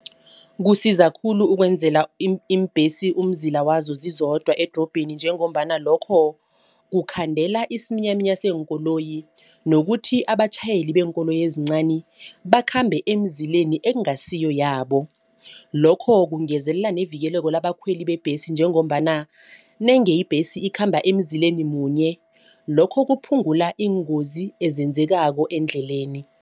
Kusiza khulu ukwenzela iimbhesi umzila wazo zizodwa edorobheni njengombana lokho kukhandela isiminyaminya seenkoloyi nokuthi abatjhayeli beenkoloyi ezincani bakhambe eemzileni ekungasiyo yabo. Lokho kungezelela nevikeleko labakhweli bebhesi njengombana nenge ibhesi ikhamba emzileni munye lokho kuphungula iingozi ezenzekako endleleni.